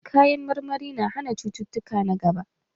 Kayan marmari na hana cututtuka na gaba.